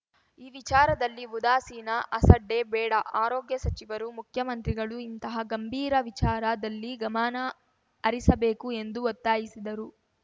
ಈ ವಿಚಾರದಲ್ಲಿ ಉದಾಸೀನ ಅಸಡ್ಡೆ ಬೇಡ ಆರೋಗ್ಯ ಸಚಿವರು ಮುಖ್ಯಮಂತ್ರಿಗಳು ಇಂತಹ ಗಂಭೀರ ವಿಚಾರದಲ್ಲಿ ಗಮನ ಹರಿಸಬೇಕು ಎಂದು ಒತ್ತಾಯಿಸಿದರು